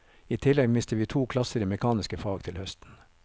I tillegg mister vi to klasser i mekaniske fag til høsten.